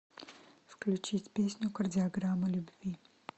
включить песню кардиограмма любви